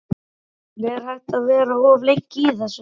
Karen: Er hægt að vera of lengi í þessu?